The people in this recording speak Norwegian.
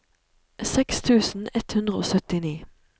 seks tusen ett hundre og syttini